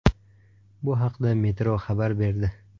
Bu haqda Metro xabar berdi .